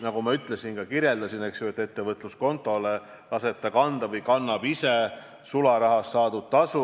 Nagu ma ütlesin, ta laseb ettevõtluskontole kanda või kannab ise sularahas saadud tasu.